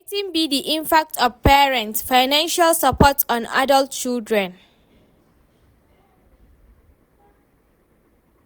Wetin be di impact of parents' financial support on adult children?